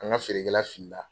An ka feerekɛla fili la